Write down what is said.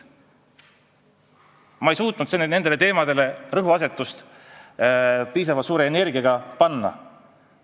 Ma ei suutnud neid teemasid piisavalt suure energiaga rõhutada.